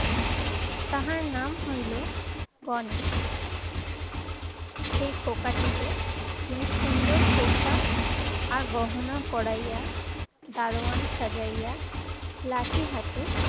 তাহার নাম হইল গণেশ। সেই খোকাটিকে তিনি সুন্দর পোশাক আর গহনা পড়াইয়া. দারোয়ান সাজাইয়া লাঠির হাতে